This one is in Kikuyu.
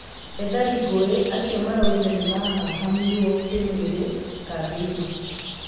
Ethari ngũĩ acio maraugire nĩ mahahamirwo kĩ mwĩ rĩ kambĩ inĩ .